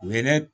U ye ne